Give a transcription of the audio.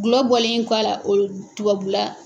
Gulɔ bɔlen kɔ a la o tubula